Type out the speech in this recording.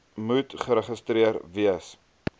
moet geregistreer wees